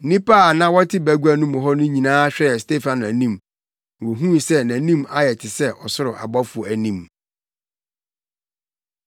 Nnipa a na wɔte bagua mu hɔ no nyinaa hwɛɛ Stefano anim, na wohuu sɛ nʼanim ayɛ te sɛ ɔsoro ɔbɔfo anim.